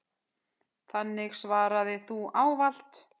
Þannig svaraði þú ávallt.